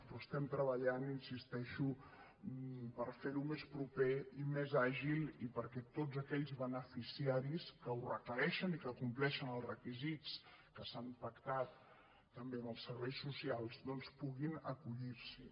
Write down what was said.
però estem treballant hi insisteixo per fer ho més proper i més àgil i perquè tots aquells beneficiaris que ho requereixen i que compleixen els requisits que s’han pactat també amb els serveis socials doncs puguin acollir s’hi